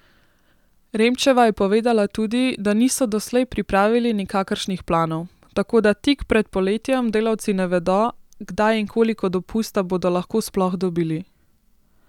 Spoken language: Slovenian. Remčeva je povedala tudi, da niso doslej pripravili nikakršnih planov, tako da tik pred poletjem delavci ne vedo, kdaj in koliko dopusta bodo lahko sploh dobili.